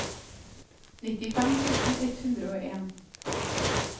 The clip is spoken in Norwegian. nittifem tusen ett hundre og en